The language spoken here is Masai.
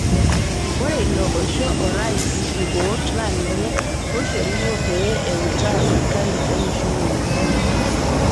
Ore ilo oisho orais nkikoot naa ninye oishoruno pee eutaa sirkali olosho le Uganda